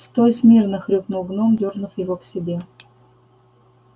стой смирно хрюкнул гном дёрнув его к себе